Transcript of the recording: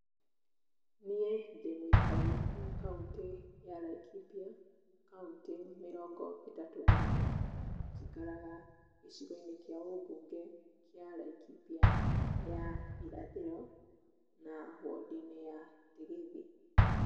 Niĩ ndi mũikari wa kaũntĩ ya Laikipia, kauntĩ mĩrongo ĩtatũ na ĩmwe. Njikaraga gĩcigo-inĩ kĩa ũbunge kĩa Laikipia ya irathĩro, na wondi-inĩ ya Ndigithi.